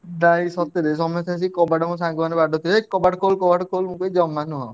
ନାଇଁ ସତରେ ସମସ୍ତେ ଆସି କବାଟ ମୋ ସାଙ୍ଗ ମାନେ ବାଡଉଥିବେ ହେଇକ କବାଟ ଖୋଲ କବାଟ ଖୋଲ ମୁଁ କହିବି ଜମା ନୁହଁ।